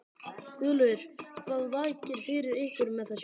Guðlaugur, hvað vakir fyrir ykkur með þessu?